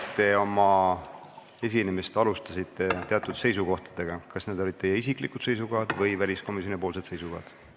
Te alustasite oma esinemist teatud seisukohtadega – kas need olid teie isiklikud seisukohad või väliskomisjoni seisukohad?